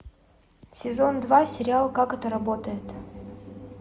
сезон два сериал как это работает